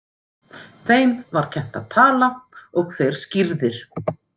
Þeim var kennt að tala og þeir skírðir.